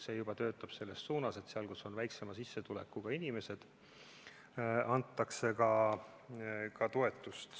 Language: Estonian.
See juba töötab selles suunas, et seal, kus on väiksema sissetulekuga inimesed, antakse ka toetust.